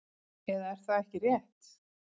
Eða er það ekki rétt?